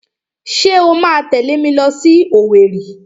Ṣé o máa tẹ̀lé mi lọ sí Owerri?